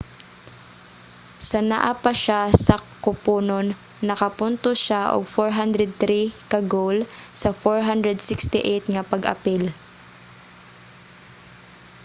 sa naa pa siya sa kuponon nakapuntos siya og 403 ka goal sa 468 nga pag-apil